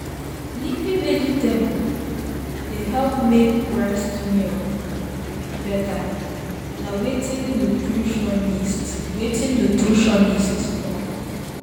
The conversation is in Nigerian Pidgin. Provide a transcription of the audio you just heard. leafy veg dey help make breast milk better na wetin nutritionist wetin nutritionist talk.